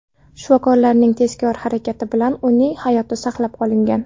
Shifokorlarning tezkor harakati bilan uning hayoti saqlab qolingan.